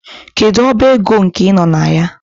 Kedu ọba ego nke ị nọ na ya?